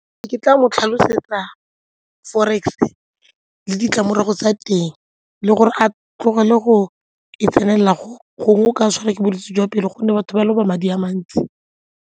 Ke tla mo tlhalosetsa forex le ditlamorago tsa teng le gore a tlogele go e tsenelela gongwe go ka tshwara ke bolwetse jwa pelo gonne batho ba loba madi a mantsi.